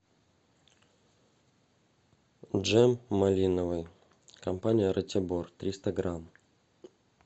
джем малиновый компания ратибор триста грамм